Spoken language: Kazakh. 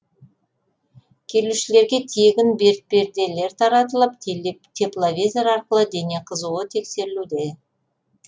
келушілерге тегін бетперделер таратылып тепловизор арқылы дене қызуы тексерілуде